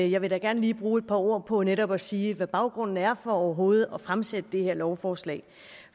jeg vil da gerne lige bruge et par ord på netop at sige hvad baggrunden er for overhovedet at fremsætte det her lovforslag